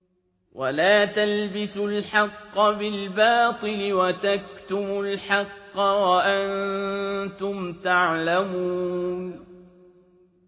وَلَا تَلْبِسُوا الْحَقَّ بِالْبَاطِلِ وَتَكْتُمُوا الْحَقَّ وَأَنتُمْ تَعْلَمُونَ